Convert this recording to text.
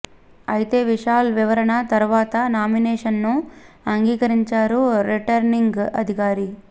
అయితే విశాల్ వివరణ తర్వాత నామినేషన్ను అంగీకరించారు రిటర్నింగ్ అధికారి